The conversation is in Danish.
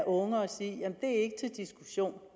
unge at sige det er ikke til diskussion